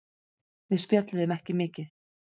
Við spjölluðum ekki mikið.